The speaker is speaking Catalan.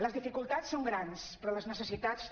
les dificultats són grans però les necessitats també